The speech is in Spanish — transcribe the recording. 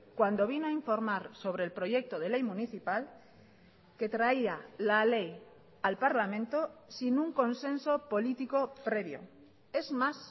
cuando vino a informar sobre el proyecto de ley municipal que traía la ley al parlamento sin un consenso político previo es más